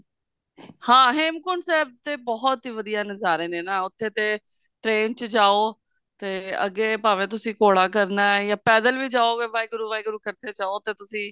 ਹਾਂ ਹੇਮਕੁੰਟ ਸਾਹਿਬ ਤਾਂ ਬਹੁਤ ਵਧੀਆ ਨਜ਼ਾਰੇ ਨੇ ਉੱਥੇ ਤੇ train ਚ ਜਾਓ ਤੇ ਅੱਗੇ ਭਾਵੇਂ ਤੁਸੀਂ ਘੋੜਾ ਕਰਨਾ ਜਾਂ ਪੈਦਲ ਵੀ ਜਾਓਗੇ ਵਾਹਿਗੁਰੂ ਵਾਹਿਗੁਰੂ ਕਰਦੇ ਜਾਓ ਤੇ ਤੁਸੀਂ